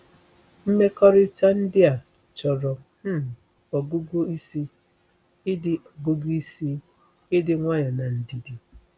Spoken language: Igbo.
Mmekọrịta ndị a chọrọ um ọgụgụ isi, ịdị ọgụgụ isi, ịdị nwayọ na ndidi.”